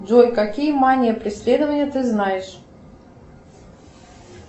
джой какие мания преследования ты знаешь